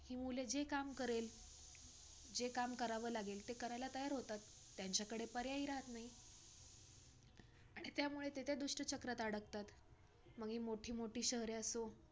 काही काहींना feedback खराब होतो आपला असच